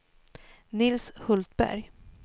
Nils Hultberg